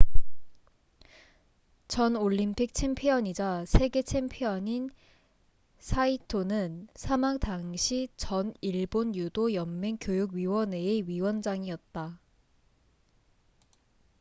전 올림픽 챔피언이자 세계 챔피언인 saito는 사망 당시 전 일본 유도 연맹 교육 위원회의 위원장이었다